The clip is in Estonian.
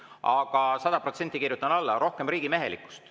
Aga sada protsenti kirjutan alla: rohkem riigimehelikkust.